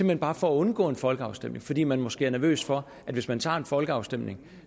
hen bare for at undgå en folkeafstemning fordi man måske er nervøs for at hvis man tager en folkeafstemning